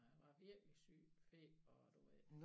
Han var virkelig syg feber og du ved